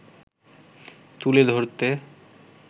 তুলে ধরতে